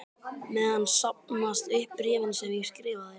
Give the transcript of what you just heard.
meðan safnast upp bréfin sem ég skrifa þér.